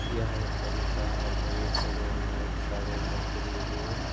यह एक बगीचा है और बगीचे मे बहुत सारे बकरी भी हैं ।